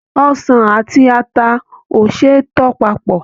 Ọsàn àti ata o ṣe é tò papọ̀.